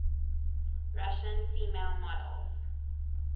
russian female models